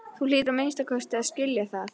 Þú hlýtur að minnsta kosti að skilja það.